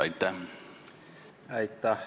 Aitäh!